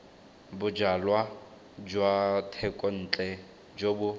bojalwa jwa thekontle jo bo